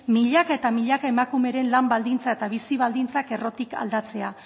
milaka eta milaka emakumeren lan baldintzak eta bizi baldintzak errotik aldatzea